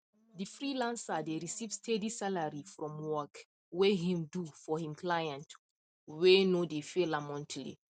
the freelancer dey receive steady salary from work whey him do for him clients whey no dey fail am monthly